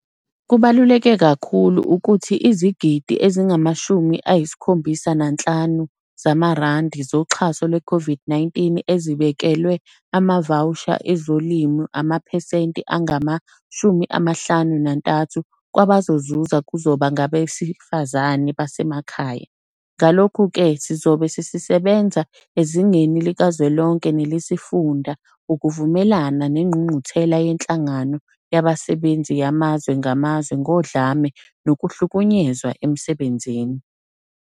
Kubaluleke kakhulu ukuthi izigidi ezingama-75 zamarandi zoxha so lweCOVID-19 ezibekelwe amavawusha ezolimo amaphesenti angama-53 kwabazozuza kuzoba ngabesifazane basemakhaya. Ngalokhu-ke, sizobe sise benza ezingeni likazwelonke nelesifunda ukuvumelana neNgqungquthela yeNhlangano Yabasebenzi Yamazwe Ngamazwe Ngodlame Nokuhlukunyezwa Emsebenzini.